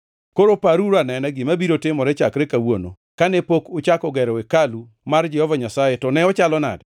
“ ‘Koro paruru anena gima biro timore chakre kawuono, kane pok uchako gero hekalu mar Jehova Nyasaye to ne ochalo nade?